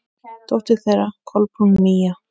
Dóttir þeirra: Kolbrún Mía.